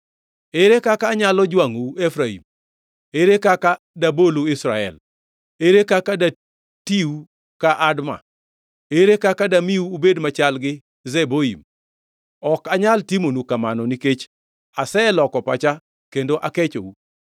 “Ere kaka anyalo jwangʼou, Efraim? Ere kaka dabolu Israel? Ere kaka datiu ka Adma? Ere kaka damiu ubed machal gi Zeboim? Ok anyal timonu kamano; nikech aseloko pacha kendo akechou.